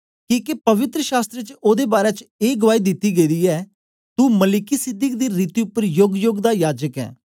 किके पवित्र शास्त्र च ओदे बारै च ए गुआई दिती गेदी ऐ तू मलिकिसिदक दी रीति उपर योगयोग दा याजक ऐं